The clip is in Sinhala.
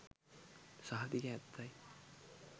සහතික ඇත්තයි.